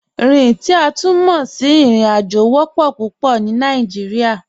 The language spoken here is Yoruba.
Rin, ti a tun mọ sí irin-ajo, wọ́pọ̀ pupọ̀ ni Nàìjíríà.